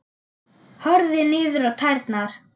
Horfði niður á tærnar.